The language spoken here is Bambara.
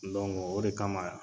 o de kama